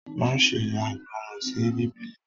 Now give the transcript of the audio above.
ma ṣe aìgbọràn sí Bíbélì!